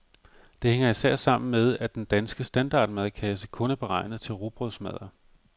Det hænger især sammen med, at den danske standardmadkasse kun er beregnet til rugbrødsmadder.